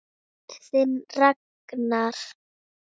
Þinn Ragnar.